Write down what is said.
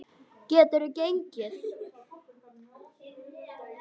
Geturðu gengið?